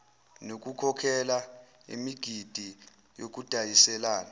nokukhokhela imigidi yokudayiselana